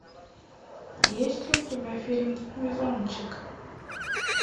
есть ли у тебя фильм везунчик